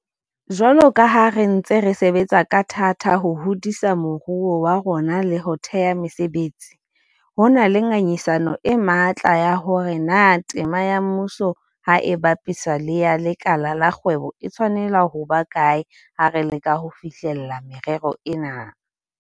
Jwalo ka ha re ntse re sebetsa ka thata ho hodisa moruo wa rona le ho thea mesebetsi, ho na le ngangisano e matla ya hore na tema ya mmuso ha e bapiswa le ya lekala la kgwebo e tshwanela ho ba kae ha re leka ho fihlella merero ena.